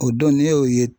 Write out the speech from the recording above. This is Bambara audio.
O don ne y'o ye